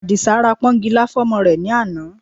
Àdìsá ra pọ́nkilá fún ọmọ rẹ̀ ní àná